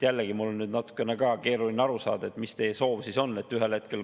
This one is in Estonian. Jällegi, mul on natukene keeruline aru saada, mis teie soov siis on.